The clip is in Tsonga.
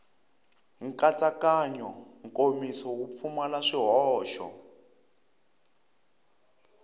nkatsakanyo nkomiso wu pfumala swihoxo